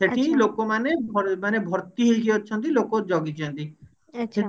ସେଠି ଲୋକମାନେ ଭ ମାନେ ଭର୍ତି ହେଇକି ଅଛନ୍ତି ଲୋକ ଜଗିଛନ୍ତି